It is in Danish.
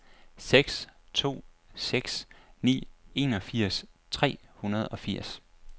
seks to seks ni enogfirs tre hundrede og firs